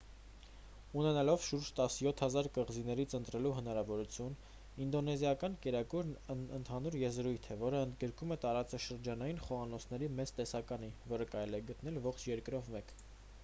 ունենալով շուրջ 17 000 կղզիներից ընտրելու հնարավորություն ինդոնեզիական կերակուրն ընդհանուր եզրույթ է որն ընդգրկում է տարածաշրջանային խոհանոցների մեծ տեսականի որը կարելի է գտնել ողջ երկրով մեկ